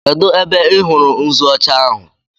Kedụ ebe ị hụrụ nzu ọcha ahụ?